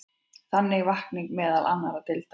Það vakning meðal annarra deilda.